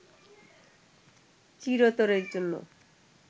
চিরতরের জন্য